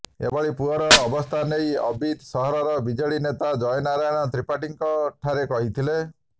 ଏଭଳି ପୁଅର ଅବସ୍ଥା ନେଇ ଅବିଦ୍ ସହରର ବିଜେଡି ନେତା ଜୟନାରାୟଣ ତ୍ରିପାଠୀ ଙ୍କ ଠାରେ କହିଥିଲେ